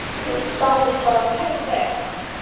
Sáust bara mjög vel.